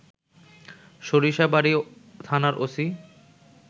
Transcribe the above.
সরিষাবাড়ি থানার ওসি